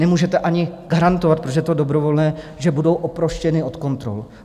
Nemůžete ani garantovat, protože je to dobrovolné, že budou oproštěni od kontrol.